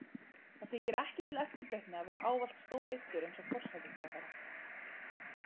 Það þykir ekki til eftirbreytni að vera ávallt stóryrtur eins og forsætisráðherra.